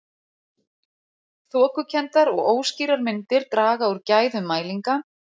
Þokukenndar og óskýrar myndir draga úr gæðum mælinga.